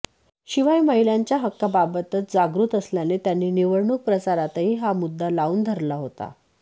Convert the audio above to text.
शिवाय महिलांच्या हक्कांबाबतच जागृत असल्याने त्यांनी निवडणूक प्रचारातही हा मुद्दा लावून धरला होता